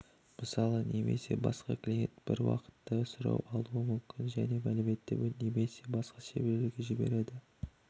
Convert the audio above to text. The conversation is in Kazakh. мысалы немесе басқа клиенттен бір уақытта сұрау алуы мүмкін және мәліметті немесе басқа серверлерге жібереді